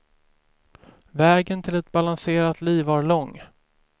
Vägen till ett balanserat liv var lång.